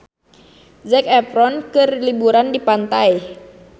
Zac Efron keur liburan di pantai